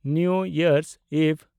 new year eve